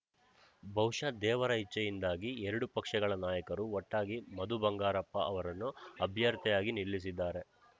ಬಹುಶಃ ದೇವರ ಇಚ್ಛೆಯಿಂದಾಗಿ ಎರಡೂ ಪಕ್ಷಗಳ ನಾಯಕರು ಒಟ್ಟಾಗಿ ಮಧು ಬಂಗಾರಪ್ಪ ಅವರನ್ನು ಅಭ್ಯರ್ಥಿಯಾಗಿ ನಿಲ್ಲಿಸಿದ್ದಾರೆ